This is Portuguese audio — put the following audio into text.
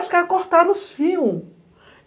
Os caras cortaram os fios.